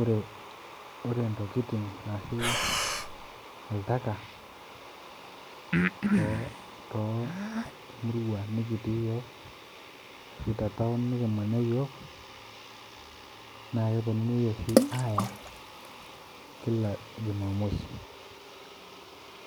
Ore ore intokiting ashu oltaka too too murua nikitii iyiok ashu te town nikimanya iyiok naa keponunui oshi aaya kila jumamosi